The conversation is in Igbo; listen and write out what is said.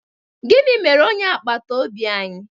Gịnị mere onye agbata obi anyị?